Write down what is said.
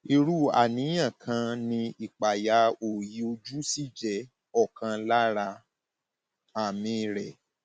irú àníyàn kan ni ìpayà òòyì ojú sì jẹ ọkan lára àmì rẹ